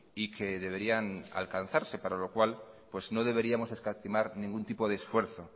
y que deberían alcanzarse para la cual no deberíamos escatimar ningún tipo de esfuerzo